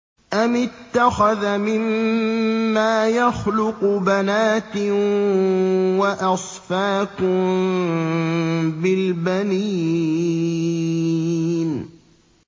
أَمِ اتَّخَذَ مِمَّا يَخْلُقُ بَنَاتٍ وَأَصْفَاكُم بِالْبَنِينَ